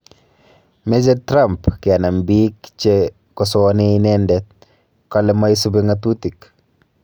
Meche Trump kenam biik che kosoani inende kale maisubi ng'atutik